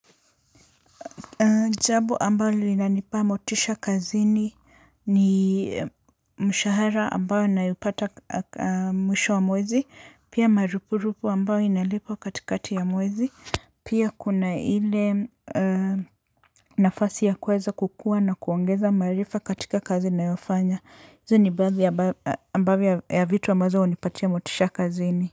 Jabo ambalo linanipa motisha kazini ni mshahara ambayo naipata mwisho wa mwezi pia marupurupu ambayo inalipwa katikati ya mwezi. Pia kuna ile nafasi ya kuweza kukuwa na kuongeza maarifa katika kazi ninayofanya hizi ni baadhi ambayo ambavyo ya vitu ambazo hunipatia motisha kazini.